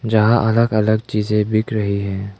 यहां अलग अलग चीज बिक रही हैं।